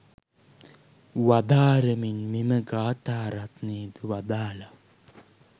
වදාරමින් මෙම ගාථා රත්නයද වදාළා.